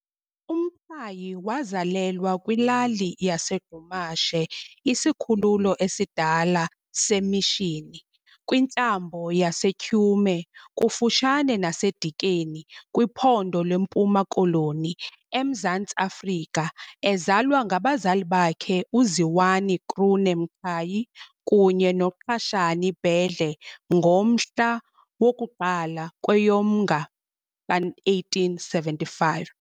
UMqhayi wazalelwa kwilali yaseGqumahashe, isikhululo esidala seMishini, kwintlambo yaseTyhume kufutshane naseDikeni kwiPhondo leMpuma Koloni, eMzantsi Afrika ezalwa ngabazali bakhe uZiwani Krune Mqhayi kunye noQashani Bedle ngomhla woku-1 kweyoMnga ka-1875.